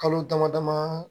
Kalo damadaman